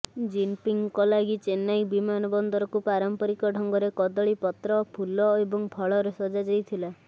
ଜିନପିଙ୍ଗଙ୍କ ଲାଗି ଚେନ୍ନାଇ ବିମାନବନ୍ଦରକୁ ପାରମ୍ପରିକ ଢଙ୍ଗରେ କଦଳୀ ପତ୍ର ଫୁଲ ଏବଂ ଫଳରେ ସଜାଯାଇଥିଲା